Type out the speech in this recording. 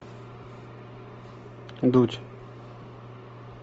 дудь